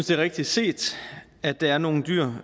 det er rigtigt set at der er nogle dyr